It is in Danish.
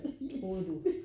Troede du